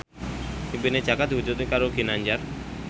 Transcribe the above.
impine Jaka diwujudke karo Ginanjar